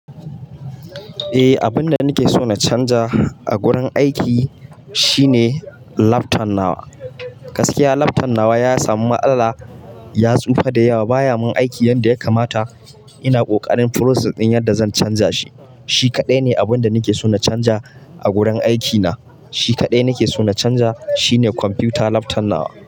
E, abun da nake so na canza a wurin aiki shine lafton nawa. Gaskiya lafton nawa ya samu matsala, ya tsufa da yawa. Ba ya min aiki yadda ya kamata. Ina ƙoƙarin prosess ɗin yadda zan canza shi. Shi kaɗai ne abun da nake so na canja a wurin aiki na. Shi kaɗai nake so na canja shi ne kwamfita lafton nawa.